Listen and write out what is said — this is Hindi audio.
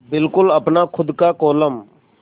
बिल्कुल अपना खु़द का कोलम